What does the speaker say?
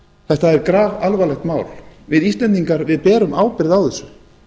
þetta er grafalvarlegt mál við íslendingar berum ábyrgð á þessu